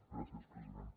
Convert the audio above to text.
gràcies president